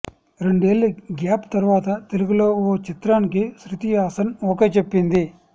రెండేళ్ల గ్యాప్ తర్వాత తెలుగులో ఓ చిత్రానికి శృతి హాసన్ ఓకె చెప్పింది